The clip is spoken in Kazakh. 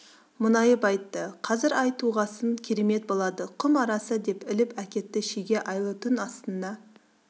мұңайып айтты қазір ай туғасын керемет болады құм арасы деп іліп әкетті шеге айлы түн астыңда